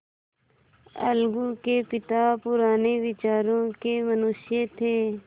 अलगू के पिता पुराने विचारों के मनुष्य थे